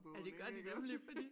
Ja det gør de nemlig fordi